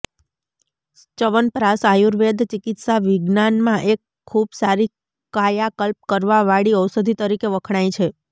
ચ્યવનપ્રાશ આયુર્વેદ ચિકિત્સા વિજ્ઞાન મા એક ખુબ સારી કાયાકલ્પ કરવા વાળી ઔષધી તરીકે વખણાય છે